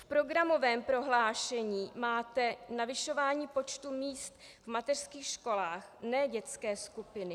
V programovém prohlášení máte navyšování počtu míst v mateřských školách, ne dětské skupiny.